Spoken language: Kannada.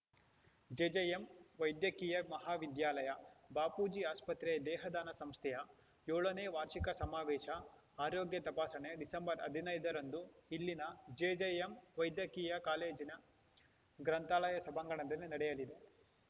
ಜೆಜೆಎಂ ವೈದ್ಯಕೀಯ ಮಹಾವಿದ್ಯಾಲಯ ಬಾಪೂಜಿ ಆಸ್ಪತ್ರೆಯ ದೇಹದಾನ ಸಂಸ್ಥೆಯ ಏಳನೇ ವಾರ್ಷಿಕ ಸಮಾವೇಶ ಆರೋಗ್ಯ ತಪಾಸಣೆ ಡಿಸೆಂಬರ್ ಹದಿನೈದರಂದು ಇಲ್ಲಿನ ಜೆಜೆಎಂ ವೈದ್ಯಕೀಯ ಕಾಲೇಜಿನ ಗ್ರಂಥಾಲಯ ಸಭಾಂಗಣದಲ್ಲಿ ನಡೆಯಲಿದೆ